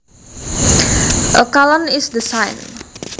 A colon is the sign